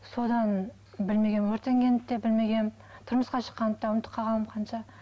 содан білмегенмін өртенгенімді де білмегенмін тұрмысқа шыққанымды да ұмытып қалғанмын қанша